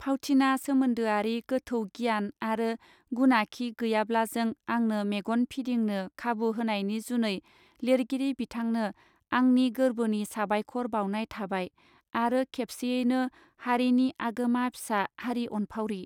फावथिना सोमोन्दोआरि गोथौ गियान आरो गुनाखि गैयाब्लाबों आंनो मेगन फिदिंनो खाबु होनायनि जुनै लिरगिरि बिथांनो आंनि गोर्बोनि साबायखर बाउनाय थाबाय आरो खेबसेयैनो हारिनि आगोमा फिसा हारि अनफावरि.